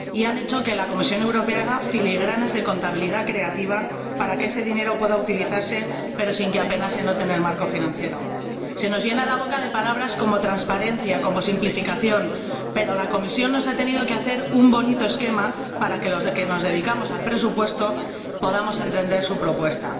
Y han hecho que la Comisión Europea tenga que hacer filigranas de contabilidad creativa para que ese dinero pueda utilizarse pero sin que apenas se note en el marco financiero. Se nos llena la boca de palabras como transparencia, como simplificación, pero la Comisión nos ha tenido que hacer un bonito esquema para que los que nos dedicamos al presupuesto podamos entender su propuesta.